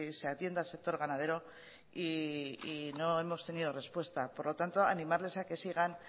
se atienda al sector ganadero y no hemos tenido respuesta por lo tanto animarles a que sigan